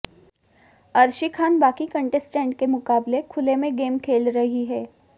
अर्शी खान बाकी कंटेस्टेंट के मुकाबले खुले में गेम खेल रही है